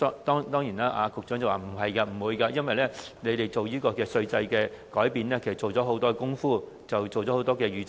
當然，局長表示不會出現這情況，因為政府提出這項稅制改變前，已做了很多工夫和預測。